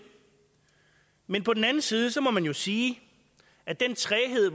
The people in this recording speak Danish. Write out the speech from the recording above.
men på den anden side må man jo sige at den træghed